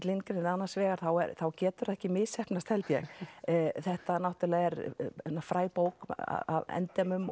Lindgren er annars vegar þá getur það ekki misheppnast held ég þetta náttúrulega er fræg bók að endemum